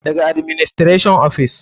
Daga administration ofis.